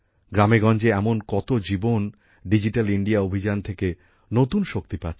গ্রামেগঞ্জে এমন কত জীবন ডিজিটাল ইন্ডিয়া অভিযান থেকে নতুন শক্তি পাচ্ছে